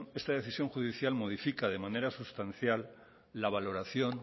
esa decisión judicial modifica de manera sustancial la valoración